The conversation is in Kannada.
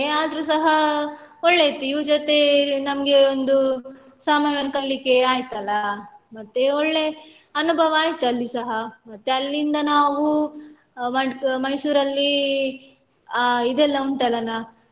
ಆದ್ರುಸ ಒಳ್ಳೆ ಇತ್ತು ಇವ್ರು ಜೊತೆ ನಮ್ಗೆ ಒಂದು ಸಮಯವನ್ನು ಕಳೀಲಿಕ್ಕೆ ಆಯ್ತು ಅಲ ಮತ್ತೆ ಒಳ್ಳೆ ಅನುಭವ ಆಯ್ತು ಅಲ್ಲಿ ಸಹ ಮತ್ತೆ ಅಲ್ಲಿಂದ ನಾವೂ ಮ~ Mysore ಅಲ್ಲಿ ಅ ಇದೆಲ್ಲ ಉಂಟಲನಾ.